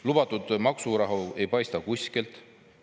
Lubatud maksurahu ei paista kuskilt.